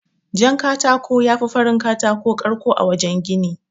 Jan katako yafi farin katako ƙarko a wajan gini.